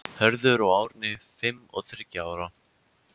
Hörður og Árni, fimm og þriggja ára.